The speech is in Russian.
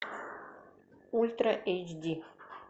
ультра эйч ди